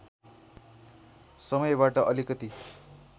समयबाट अलिकति